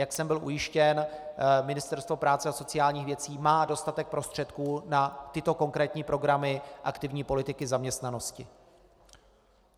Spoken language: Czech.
Jak jsem byl ujištěn, Ministerstvo práce a sociálních věcí má dostatek prostředků na tyto konkrétní programy aktivní politiky zaměstnanosti.